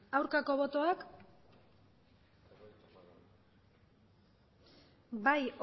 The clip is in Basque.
aurkako botoak bai